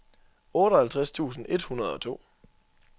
otteoghalvtreds tusind et hundrede og to